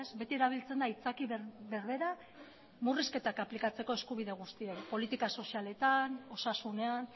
beti erabiltzen da aitzaki berbera murrizketak aplikatzeko eskubide guztietan politika sozialetan osasunean